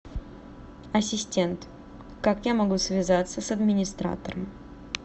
ассистент как я могу связаться с администратором